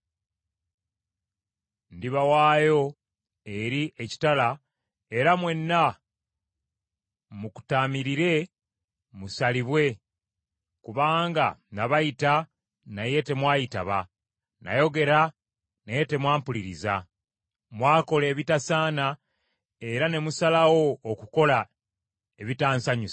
ndibawaayo eri ekitala era mwenna mukutaamirire musalibwe, kubanga nabayita naye temwayitaba, nayogera naye temwampuliriza. Mwakola ebitasaana era ne musalawo okukola ebitansanyusa.”